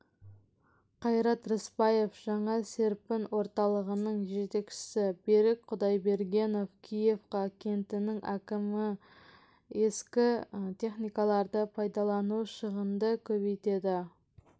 қайрат рысбаев жаңа серпін орталығының жетекшісі берік құдайбергенов киевка кентінің әкімі ескі техникаларды пайдалану шығынды көбейтеді